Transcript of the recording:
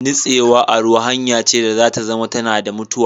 Natsewa a ruwa hanya ce da za ta zama tana da mutuwa